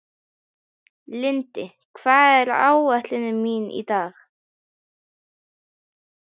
Lindi, hvað er á áætluninni minni í dag?